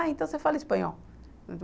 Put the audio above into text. Ah, então você fala espanhol.